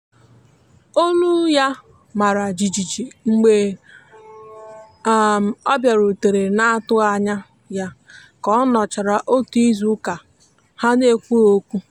olụ ya mara jịjị mgbe um ọ biarutere na atughi anya ya ka ọnochara ọtụ izụ uka ha na ekwụghi okwụ.